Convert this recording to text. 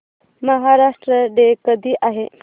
Maharashtra day कधी आहे